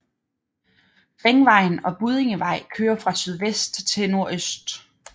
Ringvejen og Buddingevej kører fra sydvest til nordøst